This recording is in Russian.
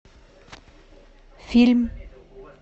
фильм